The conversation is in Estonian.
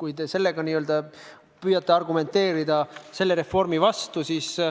miks te püüate reformi vastu sellega argumenteerida.